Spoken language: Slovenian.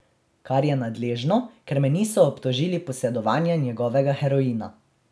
Kar je nadležno, ker me niso obtožili posedovanja njegovega heroina.